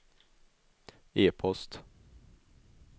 e-post